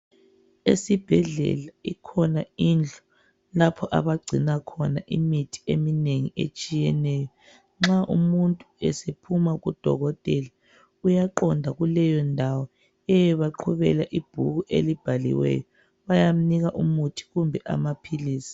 Esibhedlela ikhona indlu lapho abagcina khona imithi eminengi etshiyeneyo. Nxa umuntu sephuma kudokotela uyaqonda kuleyo ndawo eyobaqhubela ibhuku elibhaliweyo, bayamnika umuthi kumbe amaphilisi.